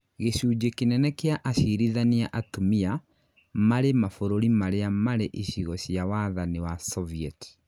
gĩcunjĩ kĩnene kia acirithania atumia marĩ mabũrũri marĩa marĩ icigo cia wathani wa sovieti